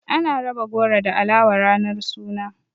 Ana raba goro da alawa ranar suna.